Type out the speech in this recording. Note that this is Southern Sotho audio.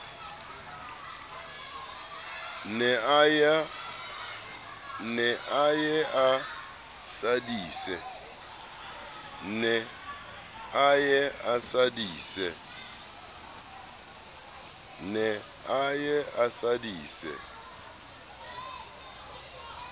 ne a ye a sadise